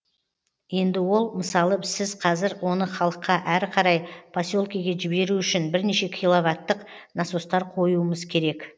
енді ол мысалы сіз қазір оны халыққа әрі қарай поселкеге жіберу үшін бірнеше киловаттық насостар қоюымыз керек